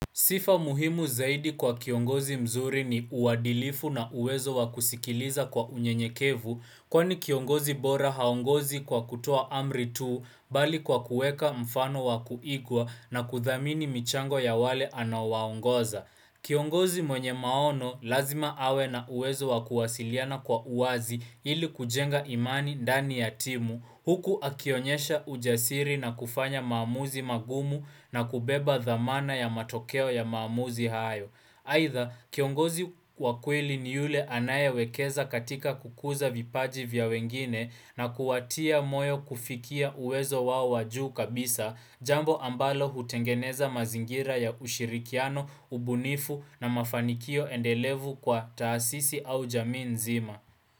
Sifa muhimu zaidi kwa kiongozi mzuri ni uwadilifu na uwezo wakusikiliza kwa unye nyekevu kwani kiongozi bora haongozi kwa kutoa amri tu bali kwa kueka mfano wakuigwa na kuthamini michango ya wale anawaongoza. Kiongozi mwenye maono lazima awe na uwezo wakuwasiliana kwa uazi ili kujenga imani dani ya timu, huku akionyesha ujasiri na kufanya maamuzi magumu na kubeba dhamana ya matokeo ya maamuzi hayo. Haitha, kiongozi wa kweli ni yule anaye wekeza katika kukuza vipaji vya wengine na kuwatia moyo kufikia uwezo wao wa juu kabisa, jambo ambalo hutengeneza mazingira ya ushirikiano, ubunifu na mafanikio endelevu kwa taasisi au jamii nzima.